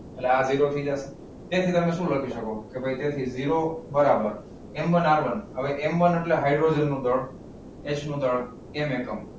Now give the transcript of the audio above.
એટલે આ ઝીરો થઈ જશે તેથી તમે શું લખી શકું એટલે કે ઝીરો બરાબર. M one R one. M one એટલે કે હાઇડ્રોજનનું દળ H નું દળ ten એકમ.